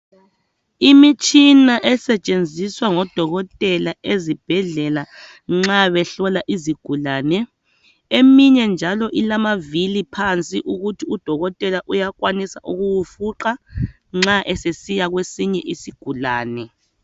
Imitshina esetshenziswa ngodokotela ezibhedlela nxa behlola izigulane eminye njalo ilamavili phansi ukuthi udokotela uyakwanisa ukuwufunqa nxa esesiya kwesinye isigulane.